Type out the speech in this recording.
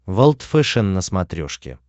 волд фэшен на смотрешке